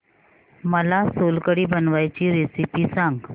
मला सोलकढी बनवायची रेसिपी सांग